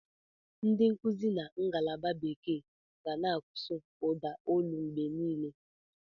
Ndị nkuzi na ngalaba bekee ga na-asụ ụda olu mgbe niile.